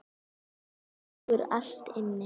Þetta liggur allt inni